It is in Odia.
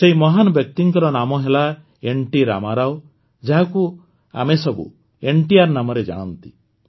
ସେହି ମହାନ ବ୍ୟକ୍ତିଙ୍କ ନାମ ହେଲା ଏନ୍ଟି ରାମାରାଓ ଯାହାକୁ ଆମେସବୁ ଏନ୍ଟିଆର୍ ନାମରେ ଜାଣନ୍ତି